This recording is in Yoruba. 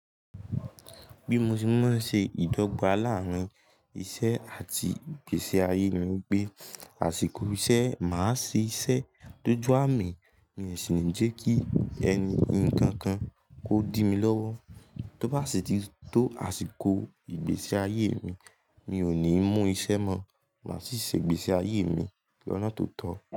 Bí mo ṣe máa ń ṣe ìdọ́gba láàárín iṣẹ́ àti ìgbésí ayé ni pé àsìkò iṣẹ́, màá ṣe iṣẹ́ tó ju àmì mí rẹ̀ si ní jẹ kí ẹni kankan kó dí mi lọ́wọ́. Tó bá sì tì tó àsìkò ìgbésí ayé mi, mi ò ní mú iṣẹ́ mọ̀, màá sì ṣe ìgbésí ayé mi lọ́nà tó tọ́.